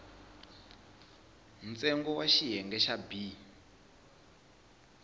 ntsengo wa xiyenge xa b